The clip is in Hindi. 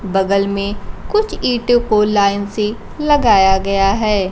बगल में कुछ ईंटो को लाइन से लगाया गया है।